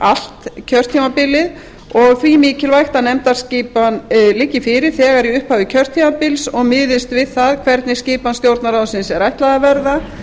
allt kjörtímabilið og því mikilvægt að nefndaskipan liggi fyrir þegar í upphafi kjörtímabils og miðist við það hvernig skipan stjórnarráðsins er ætlað að verða